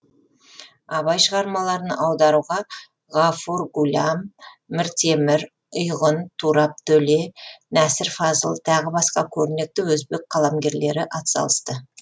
абай шығармаларын аударуға ғафур ғулям міртемір ұйғун турап төле нәсір фазыл тағы басқа көрнекті өзбек қаламгерлері атсалысты